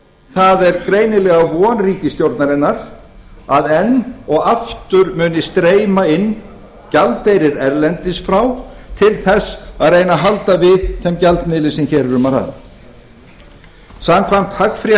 það er greinilega von ríkisstjórnarinnar að enn og aftur muni streyma inn gjaldeyrir erlendis frá til að reyna að halda við þeim gjaldmiðli sem hér er um að ræða